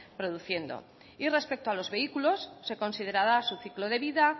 produciendo y respecto a los vehículos se considerará su ciclo de vida